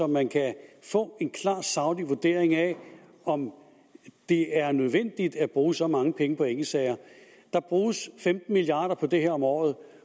man kan få en klar saglig vurdering af om det er nødvendigt at bruge så mange penge på enkeltsager der bruges femten milliard kroner på det her om året